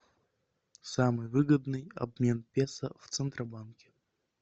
самый выгодный обмен песо в центробанке